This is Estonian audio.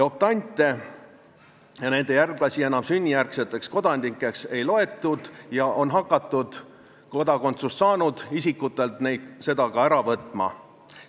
Optante ja nende järglasi enam sünnijärgseteks kodanikeks ei loetud ja on hakatud kodakondsuse saanud isikutelt seda ära võtma.